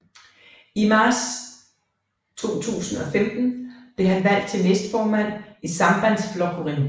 I marts 2015 blev han valgt til næstformand for Sambandsflokkurin